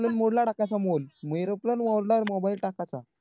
airoplane mode ला टाकायचं phoneairoplane mode ला mobile टाकायचं